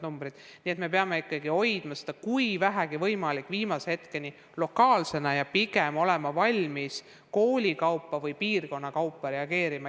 Nii et me peame ikkagi hoidma kooliskäimist, kui vähegi võimalik, viimase hetkeni ja pigem olema kõigepealt valmis koolide kaupa või piirkondade kaupa reageerima.